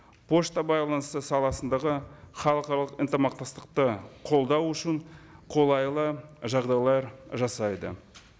пошта байланысы саласындағы халықаралық ынтымақтастықты қолдау үшін қолайлы жағдайлар жасайды